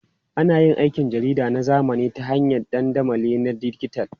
Ana yin aikin jarida na zamani ta hanyar dandamali na dijital.